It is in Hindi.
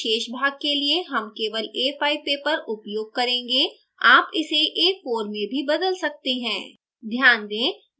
इस tutorial के शेष भाग के लिए हम केवल a5 paper उपयोग करेंगे आप इसे a4 में भी बदल सकते हैं